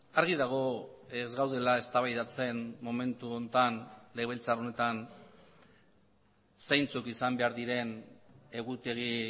argi dago ez gaudela eztabaidatzen momentu honetan legebiltzar honetan zeintzuk izan behar diren egutegi